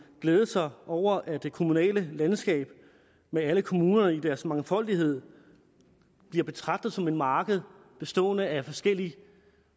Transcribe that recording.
glæde sig over at det kommunale landskab med alle kommunerne i deres mangfoldighed bliver betragtet som et marked bestående af forskellige